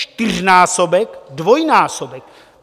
Čtyřnásobek, dvojnásobek.